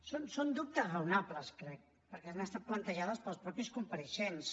són dubtes raonables crec perquè han estat plantejats pels mateixos compareixents